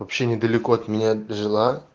вообще недалеко от меня жила